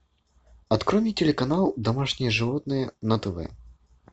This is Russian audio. открой мне телеканал домашние животные на тв